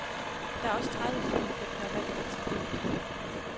Der er også tredive filmklip, der er valgt ret tilfældigt.